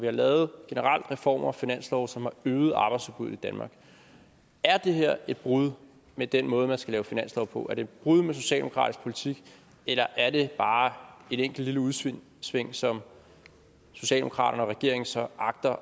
har lavet reformer og finanslove som har øget arbejdsudbuddet i danmark er det her et brud med den måde man skal lave finanslove på er det et brud med socialdemokratisk politik eller er det bare et enkelt lille udsving som socialdemokraterne og regeringen så agter